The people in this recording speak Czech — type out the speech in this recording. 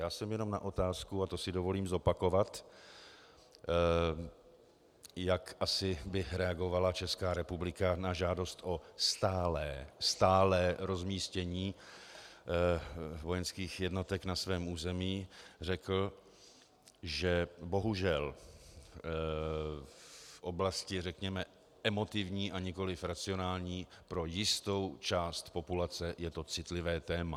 Já jsem jenom na otázku, a to si dovolím zopakovat, jak asi by reagovala Česká republika na žádost o stálé - stálé - rozmístění vojenských jednotek na svém území, řekl, že bohužel v oblasti řekněme emotivní a nikoli racionální pro jistou část populace je to citlivé téma.